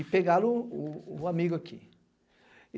E pegaram o o o amigo aqui.